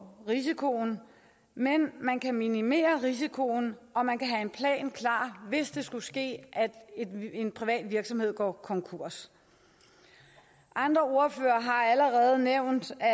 risikoen men man kan minimere risikoen og man kan have en plan klar hvis det skulle ske at en privat virksomhed går konkurs andre ordførere har allerede nævnt at